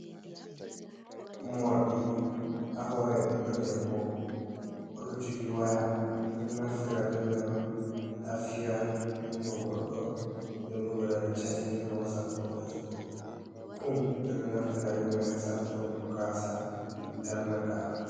Moorɗi haa hoore ɓiɗɗo debbo, o ɗo jogi waya, ɓe ɗo naftira be may on, haa fiyango goɗɗo. Nden bo, be ɗo waɗa catin her wasap ko fesbuk. Kum ɓe ɗo naftira be may, haa safuturgo gaasa darnaaka.